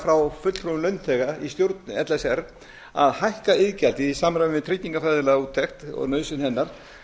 frá fulltrúum launþega í stjórn l s r að hækka iðgjaldið í samræmi við tryggingafræðilega úttekt og nauðsyn hennar